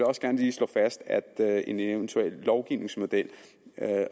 også gerne lige slå fast at en eventuel lovgivningsmodel